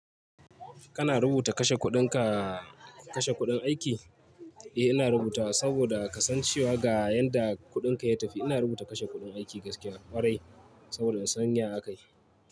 Kana rubuta kashe kuɗinka, kashe kuɗin aiki? Eh, ina rubutawa saboda kasancewa ga yanda kuɗinka ya tafi. Ina rubuta kashe kuɗin aiki gaskiya ƙwarai saboda in san ya aka yi.